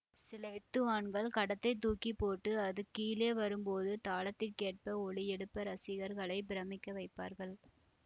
சில வித்துவான்கள் கடத்தைத் தூக்கி போட்டு அது கீழே வரும்போது தாளத்திற்கேற்ப ஒலி எழுப்ப இரசிகர்களை பிரமிக்க வைப்பார்கள்